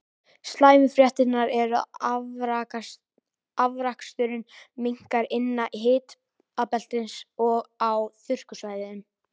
Slæmu fréttirnar eru að afraksturinn minnkar innan hitabeltisins og á þurrkasvæðum.